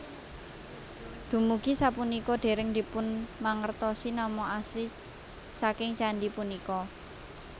Dumugi sapunika dereng dipunmangertosi nama asli saking candhi punika